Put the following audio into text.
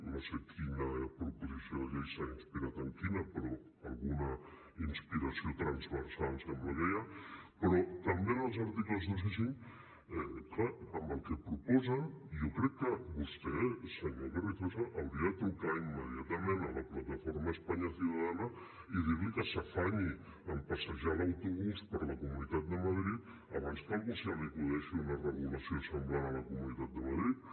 no sé quina proposició de llei s’ha inspirat en quina però alguna inspiració transversal sembla que hi ha però també en els articles dos i cinc clar amb el que proposen jo crec que vostè senyor carrizosa hauria de trucar immediatament a la plataforma españa ciudadana i dir li que s’afanyi a passejar l’autobús per la comunitat de madrid abans que a algú se li acudeixi una regulació semblant a la comunitat de madrid